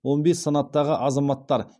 он бес санаттағы азаматтар